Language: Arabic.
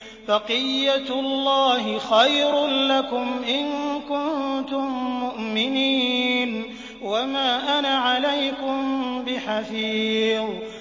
بَقِيَّتُ اللَّهِ خَيْرٌ لَّكُمْ إِن كُنتُم مُّؤْمِنِينَ ۚ وَمَا أَنَا عَلَيْكُم بِحَفِيظٍ